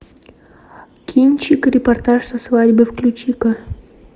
кинчик репортаж со свадьбы включи ка